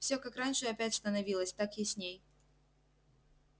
всё как раньше опять становилось так ясней